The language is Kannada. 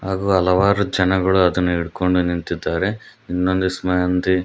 ಹಾಗು ಹಲವಾರು ಜನಗಳು ಅದುನ್ನ ಹಿಡ್ಕೊಂಡು ನಿಂತಿದ್ದಾರೆ ಇನ್ನೊಂದಿಷ್ಟ್ ಮಂದಿ--